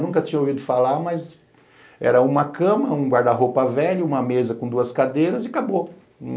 Nunca tinha ouvido falar, mas era uma cama, um guarda-roupa velho, uma mesa com duas cadeiras e acabou.